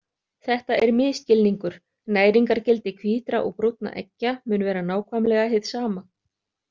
Þetta er misskilningur, næringargildi hvítra og brúnna eggja mun vera nákvæmlega hið sama.